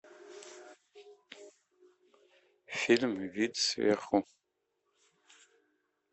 фильм вид сверху